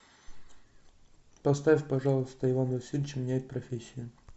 поставь пожалуйста иван васильевич меняет профессию